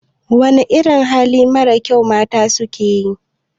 Wana irin hali marar kyau mata suke yi?